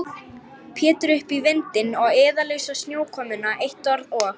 Pétur upp í vindinn og iðulausa snjókomuna, eitt orð og